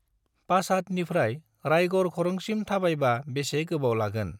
पाचादनिफ्राय राइगर खरंसिम थाबायबा बेसे गोबाव लागोन?